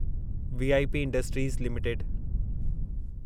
VIP industries limited